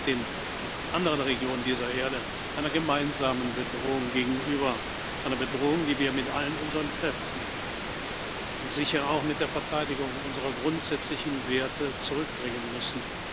Wir stehen mit den anderen Regionen dieser Erde einer gemeinsamen Bedrohung gegenüber einer Bedrohung, die wir mit all unseren Kräften und sicher auch mit der Verteidigung unserer grundsätzlichen Werte zurückdrängen müssen.